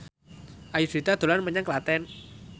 Ayudhita dolan menyang Klaten